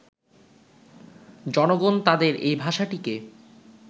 জনগণ তাঁদের এই ভাষাটিকে